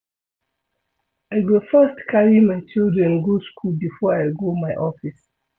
I go first carry my children go skool before I go my office.